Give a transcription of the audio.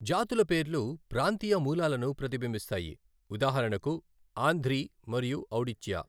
జాతుల పేర్లు ప్రాంతీయ మూలాలను ప్రతిబింబిస్తాయి, ఉదాహరణకు, ఆంధ్రి మరియు ఔడిచ్యా.